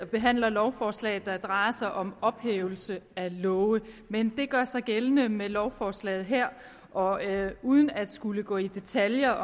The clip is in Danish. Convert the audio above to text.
behandler lovforslag der drejer sig om ophævelse af love men det gør sig gældende med lovforslaget her og uden at skulle gå i detaljer